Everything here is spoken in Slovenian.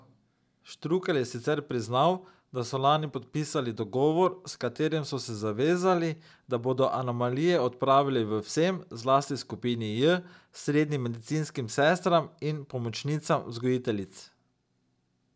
Štrukelj je sicer priznal, da so lani podpisali dogovor, s katerim so se zavezali, da bodo anomalije odpravili v vsem, zlasti skupini J, srednjim medicinskim sestram in pomočnicam vzgojiteljic.